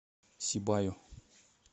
сибаю